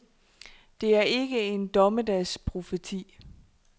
Det er ikke en dommedagsprofeti.